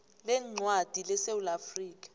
leencwadi lesewula afrika